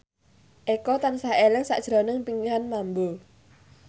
Eko tansah eling sakjroning Pinkan Mambo